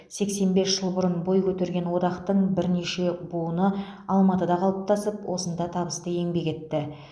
сексен бес жыл бұрын бой көтерген одақтың бірнеше буыны алматыда қалыптасып осында табысты еңбек етті